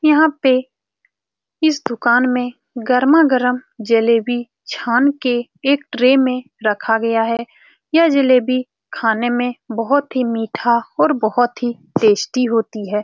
यहाँ पे इस दुकान में गरमागरम जलेबी छान के एक ट्रे में रखा गया है यह जलेबी खाने में बहुत ही मीठा और बहुत ही टेस्टी होती है।